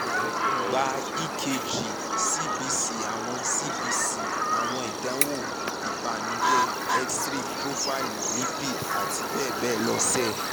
gba ekg echo cbc awọn cbc awọn idanwo ibanujẹ x-ray profaili lipid ati bẹbẹ lọ ṣe